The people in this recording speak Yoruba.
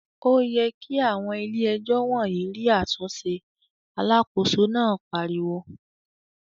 "Ó yẹ kí àwọn Ilé-àlejò wọ̀nyí rí àtúnṣe!" Alákòóso náà pariwo.